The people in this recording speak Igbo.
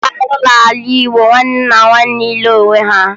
Ọ bụ arụ n'ala Igbo nwanne na nwanne ịlụ onwe ha